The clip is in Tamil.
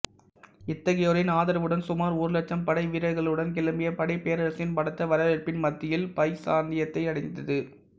இத்தகையோரின் ஆதரவுடன் சுமார் ஒரு இலட்சம் படைவீரர்களுடன் கிளம்பிய படை பேரரசனின் பலத்த வரவேற்பின் மத்தியில் பைசாந்தியத்தை அடைந்தது